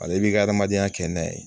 Ale b'i ka adamadenya kɛ n'a ye